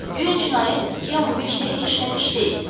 Guya cinayət ikiyə 15 dəqiqə işləmiş deyil.